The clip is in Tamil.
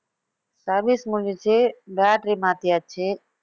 service முடிஞ்சுச்சு battery மாத்தியாச்சு